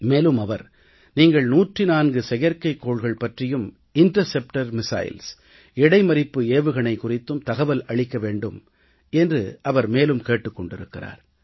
மேலும் அவர் நீங்கள் 104 செயற்கை கோள்கள் பற்றியும் இடைமறிப்பு ஏவுகணை குறித்தும் தகவல் அளிக்க வேண்டும் என்று அவர் மேலும் கேட்டுக் கொண்டிருக்கிறார்